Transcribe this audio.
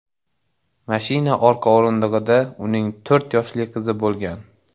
Mashina orqa o‘rindig‘ida uning to‘rt yoshli qizi bo‘lgan.